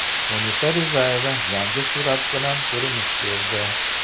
Munisa Rizayeva yangi surat bilan ko‘rinish berdi.